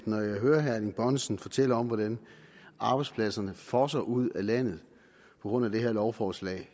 når jeg hører herre erling bonnesen fortælle om hvordan arbejdspladserne fosser ud af landet på grund af det her lovforslag